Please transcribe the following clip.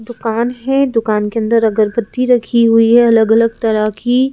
दुकान है दुकान के अंदर अगरबत्ती रखी हुई है अलग अलग तरह की --